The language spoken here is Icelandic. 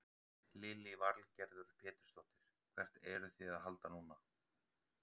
Lillý Valgerður Pétursdóttir: Hvert eruð þið að halda núna?